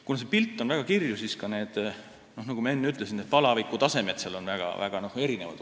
Kuna pilt on väga kirju, siis on seal ka need, nagu ma enne ütlesin, n-ö palavikutasemed väga erinevad.